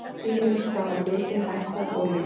Dýrum stafar mikil hætta af olíumengun.